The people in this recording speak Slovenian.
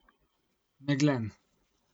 Meglen.